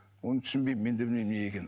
оны түсінбеймін мен де білмеймін неге екенін